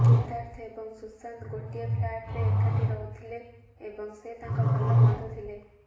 ସିଦ୍ଧାର୍ଥ ଏବଂ ସୁଶାନ୍ତ ଗୋଟିଏ ଫ୍ଲାଟରେ ଏକାଠି ରହୁଥିଲେ ଏବଂ ସେ ତାଙ୍କ ଭଲ ବନ୍ଧୁ ଥିଲେ